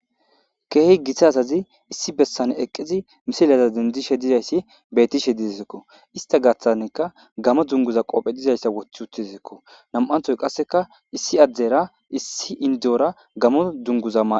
Keehi githa asazi issi bessane eqqizi misilaza dendishe dizayssi bettishe dizizekko ista gaththanekka gamo dunguza qoophe dizayssa woththi uttizazekko nam'anthoy qasseka issi addera issi indora gamo dunguza maa.